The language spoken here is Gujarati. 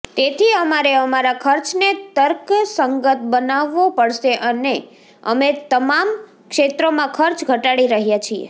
તેથી અમારે અમારા ખર્ચને તર્કસંગત બનાવવો પડશે અને અમે તમામ ક્ષેત્રોમાં ખર્ચ ઘટાડી રહ્યા છીએ